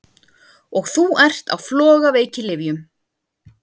Og þú ert á flogaveikilyfjum!